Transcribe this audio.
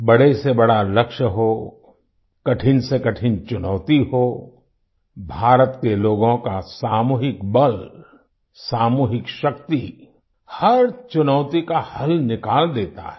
बड़े से बड़ा लक्ष्य हो कठिनसेकठिन चुनौती हो भारत के लोगों का सामूहिक बल सामूहिक शक्ति हर चुनौती का हल निकाल देता है